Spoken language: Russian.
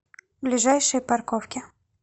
ближайшие парковки